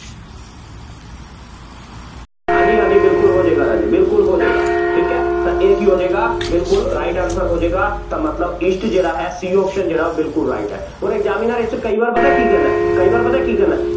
ਹਾਂਜੀ ਹਾਂਜੀ ਬਿਲਕੁੱਲ ਹੋ ਜਾਏਗਾ ਰਾਜੇ ਬਿਲਕੁੱਲ ਹੋ ਜਾਏਗਾ, ਠੀਕ ਹੈ, ਤਾਂ ਇਹ ਕੀ ਹੋ ਜਾਏਗਾ, ਬਿਲਕੁੱਲ right answer ਹੋ ਜਾਏਗਾ, ਤਾਂ ਮਤਲਬ east ਜਿਹੜਾ ਹੈ C option ਜਿਹੜਾ ਉਹ ਬਿਲਕੁੱਲ right ਹੈ, ਹੁਣ examiner ਇਹ 'ਚ ਕਈ ਵਾਰ ਪਤਾ ਕੀ ਕਹਿੰਦਾ, ਕਈ ਵਾਰ ਪਤਾ ਕੀ ਕਹਿੰਦਾ,